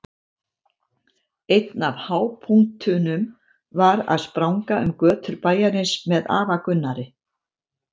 Einn af hápunktunum var að spranga um götur bæjarins með afa Gunnari.